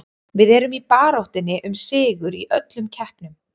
Við erum í baráttunni um sigur í öllum keppnum.